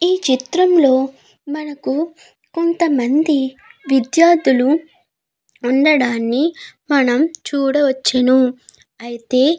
ఈ చిత్రం లో మనకు కొంతమంది విద్యార్ధులు ఉండడాన్ని మనం చూడవచ్చును అయితే.